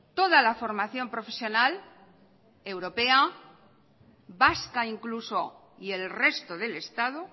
toda la formación profesional europea vasca incluso y el resto del estado